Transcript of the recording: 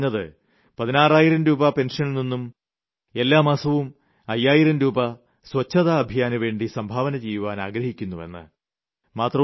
അതിലദ്ദേഹം പറഞ്ഞിരുന്നത് 16000 രൂപ പെൻഷനിൽ നിന്നും എല്ലാ മാസവും 5000 രൂപ ശുചിത്വ ഭാരത യത്നത്തിനുവേണ്ടി സംഭാവന ചെയ്യാൻ ആഗ്രഹിക്കുന്നുവെന്ന്